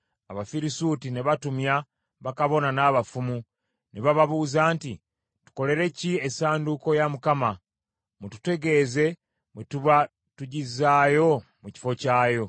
Abafirisuuti ne batumya bakabona n’abafumu, ne bababuuza nti, “Tukolere ki essanduuko ya Mukama ? Mututegeeze bwe tuba tugizzaayo mu kifo kyayo.”